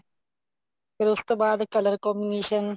ਫ਼ੇਰ ਉਸ ਤੋਂ ਬਾਅਦ color combination